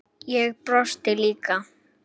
Og brosti líka.